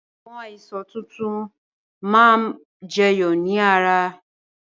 Àwọn àìsàn tuntun máa ma jẹyọ ni ara